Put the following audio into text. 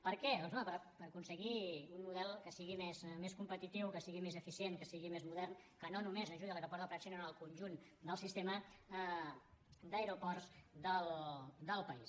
per què doncs home per aconseguir un model que sigui més competitiu que sigui més eficient que sigui més modern que no només ajudi l’aeroport del prat sinó el conjunt del sistema d’aeroports del país